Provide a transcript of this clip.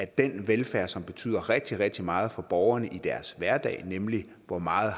den velfærd som betyder rigtig rigtig meget for borgerne i deres hverdag nemlig hvor meget